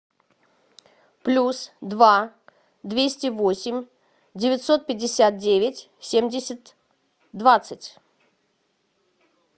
плюс два двести восемь девятьсот пятьдесят девять семьдесят двадцать